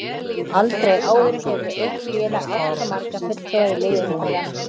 Aldrei áður hefur eitt félag átt svo marga fulltrúa í liði umferðanna.